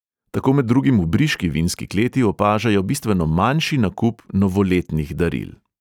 Tako med drugim v briški vinski kleti opažajo bistveno manjši nakup novoletnih daril.